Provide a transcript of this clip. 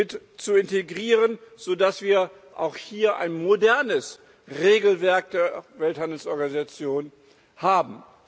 mit zu integrieren, so dass wir auch hier ein modernes Regelwerk der Welthandelsorganisation haben.